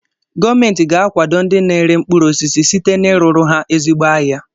Gọọmenti ga-akwado ndị na-ere mkpụrụ osisi site na ị rụrụ ha ezigbo ahịa.